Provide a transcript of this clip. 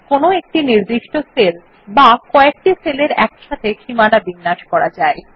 কোনো একটি নির্দিষ্ট সেল বা কএকটি সেলের একসাথে সীমানা বিন্যাস করা যায়